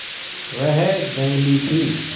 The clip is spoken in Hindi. वह जंगली थी